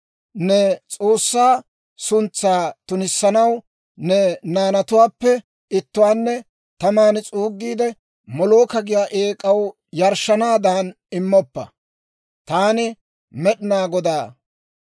« ‹Ne S'oossaa suntsaa tunissanaw ne naanatuwaappe ittuwaanne taman s'uugiide, Molooka giyaa eek'aw yarshshanaadan immoppa. Taani Med'inaa Godaa.